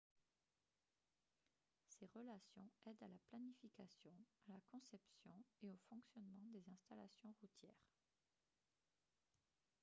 ces relations aident à la planification à la conception et au fonctionnement des installations routières